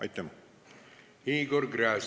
Igor Gräzin, palun!